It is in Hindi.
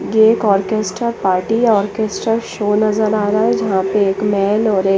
ये एक ओर्केन्स्ता पार्टी है ओर्केन्स्ता शो नज़र आरा है जहा पे एक मैन और एक--